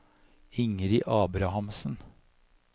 Ingrid Abrahamsen